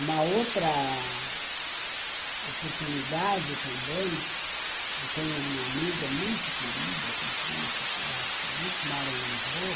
Uma outra oportunidade também, eu tenho uma amiga muito querida que entrou na faculdade comigo, que mora em Lisboa,